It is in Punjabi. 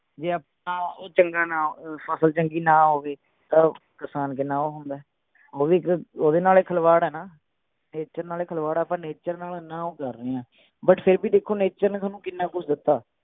ਜੇ ਆਪਾਂ ਉਹ ਚੰਗਾ ਨਾ ਅਹ ਫਸਲ ਚੰਗੀ ਨਾ ਹੋਵੇ ਤਾਂ ਕਿਸਾਨ ਕਿੰਨਾ ਉਹ ਹੁੰਦੇ ਓਹਦੇ ਨਾਲ ਹੀ ਖਿਲਵਾੜ ਹੈ ਨਾ nature ਨਾਲ ਹੀ ਖਿਲਵਾੜ ਹੈ ਆਪਾਂ nature ਨਾਲ ਇੰਨਾ ਉਹ ਕਰ ਰਹੇ ਆ but ਫੇਰ ਵੀ ਦੇਖੋ nature ਨੇ ਥੋਨੂੰ ਕਿੰਨਾ ਕੁਸ਼ ਦਿੱਤਾ